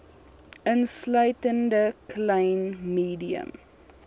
insluitende klein medium